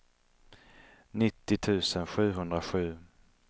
nittio tusen sjuhundrasju